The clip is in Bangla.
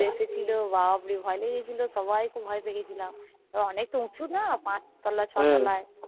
খুলে এসেছিলো বাপরে ভয়ে লেগে গেছিলো সবাই খুব ভয়ে পেয়েগেসিলাম তারপরে অনেক তা উঁচু না পাঁচ তোলা ছ তোলা